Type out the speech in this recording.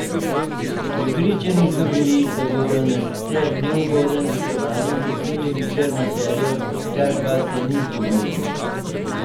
Prepričani so bili, da bodo na sicer neugodnem gostovanju prekinili črno serijo, kar pa se ni zgodilo.